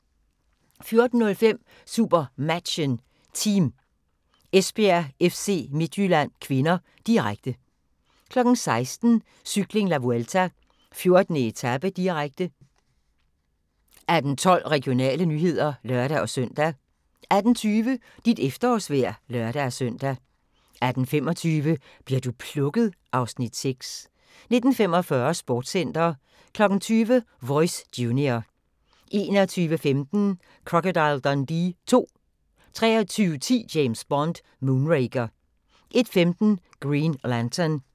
14:05: SuperMatchen: Team Esbjerg-FC Midtjylland (k), direkte 16:00: Cykling: La Vuelta - 14. etape, direkte 18:12: Regionale nyheder (lør-søn) 18:20: Dit efterårsvejr (lør-søn) 18:25: Bli'r du plukket? (Afs. 6) 19:45: Sportscenter 20:00: Voice Junior 21:15: Crocodile Dundee II 23:10: James Bond: Moonraker 01:15: Green Lantern